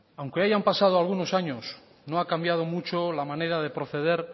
aunque hayan pasado algunos años no ha cambiado mucho la manera de proceder